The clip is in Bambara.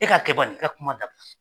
E k'a kɛ ban nin i ka kuma dab